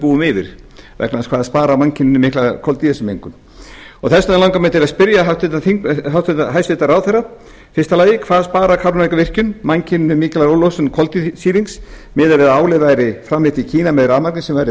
búum yfir vegna þess hvað það sparar mannkyninu mikla koltvísýringsmengun þess vegna langar mig til að spyrja hæstvirtan ráðherra fyrstu hvað sparar kárahnjúkavirkjun mannkyninu mikla losun koltvísýrings miðað við að álið væri framleitt í kína með rafmagni sem væri